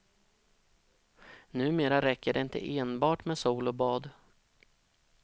Numera räcker det inte enbart med sol och bad.